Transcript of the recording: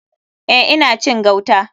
Eh ina cin gauta.